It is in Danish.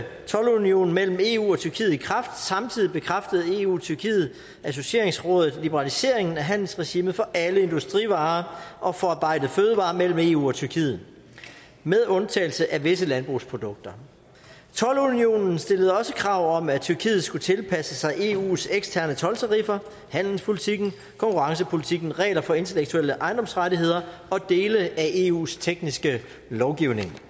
toldunionen mellem eu og tyrkiet i kraft samtidig bekræftede eu tyrkiet associeringsrådet liberaliseringen af handelsregimet for alle industrivarer og forarbejdede fødevarer mellem eu og tyrkiet med undtagelse af visse landbrugsprodukter toldunionen stillede også krav om at tyrkiet skulle tilpasse sig eus eksterne toldtariffer handelspolitikken konkurrencepolitikken regler for intellektuelle ejendomsrettigheder og dele af eus tekniske lovgivning